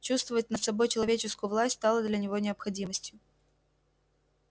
чувствовать над собой человеческую власть стало для него необходимостью